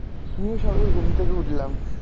হম সবে ঘুম থেকে উঠলাম